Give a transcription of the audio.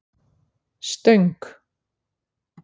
Stöng